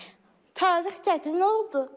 Tarix çətin oldu.